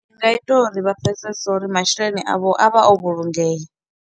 Zwi a ita uri vha pfhesese uri masheleni a vho a vha o vhulungea.